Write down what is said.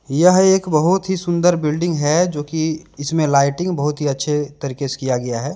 यह एक बहुत ही सुंदर बिल्डिंग है जो कि इसमें लाइटिंग बहुत ही अच्छे तरीके से किया गया है।